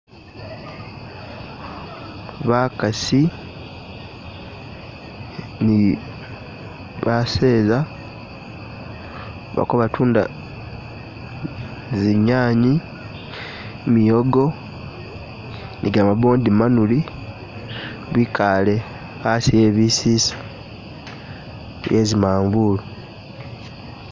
Bakaasi ni baseeza baliko batunda zinyanya miwogo ni gamabondi manuli bikaale hasi hebisisa bye zimanvulu,